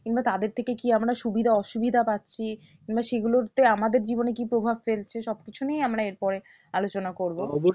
কিংবা তাদের থেকে কি আমরা সুবিধা অসুবিধা পাচ্ছি কিংবা সেগুলো যে আমাদের জীবনে কি প্রভাব ফেলছে সব কিছু নিয়েই আমরা এরপরে আলোচনা করবো